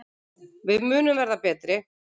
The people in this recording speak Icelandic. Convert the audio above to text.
Við munum verða betri.